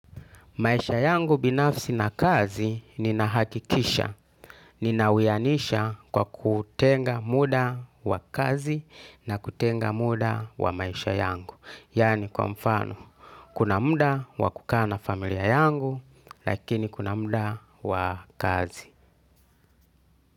Maisha yangu binafsi na kazi nina hakikisha, ninawianisha kwa kutenga muda wa kazi na kutenga muda wa maisha yangu. Yani kwa mfano, kuna muda wa kukaa na familia yangu, lakini kuna muda wa kazi.